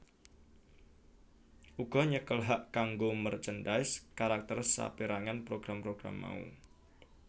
uga nyekel hak kanggo merchandise karakter saperangan program program mau